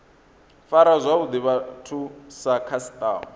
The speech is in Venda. fara zwavhuḓi vhathu sa khasiṱama